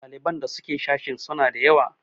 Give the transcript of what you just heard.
ɗaliban da suke sashin suna da yawa?